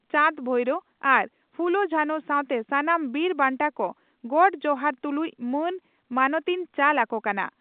ᱪᱟᱸᱫᱽᱼᱵᱷᱟᱭᱨᱚ ᱟᱨ ᱯᱷᱩᱞᱚ ᱡᱷᱟᱱᱚ ᱥᱟᱶᱛᱮ ᱥᱟᱱᱟᱢ ᱵᱤᱨ ᱵᱟᱱᱴᱟ ᱠᱚ ᱜᱚᱰ ᱡᱚᱦᱟᱨ ᱛᱩᱞᱩᱡ ᱢᱟᱱ ᱢᱟᱱᱚᱛᱤᱧ ᱪᱟᱞ ᱟᱠᱚ ᱠᱟᱱᱟ ᱾